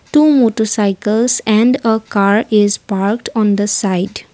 two motorcycles and a car is parked on the side.